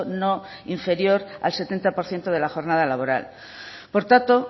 no inferior al setenta por ciento de la jornada laboral por tanto